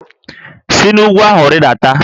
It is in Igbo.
Si n'úgwú ahụ rịdata!